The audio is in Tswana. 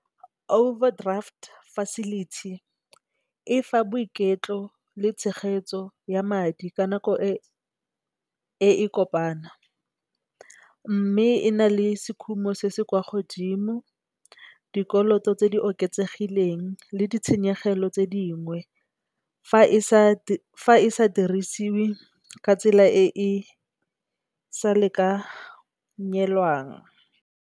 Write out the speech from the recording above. Overdraft facility efa boiketlo le tshegetso ya madi ka nako e e kopanang. Mme, e na le sekhumo se se kwa godimo dikoloto tse di oketsegileng le ditshenyegelo tse dingwe fa e sa dirisiwe ka tsela e e sa lekanyelwang.